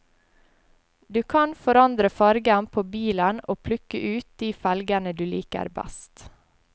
Du kan forandre fargen på bilen og plukke ut de felgene du liker best.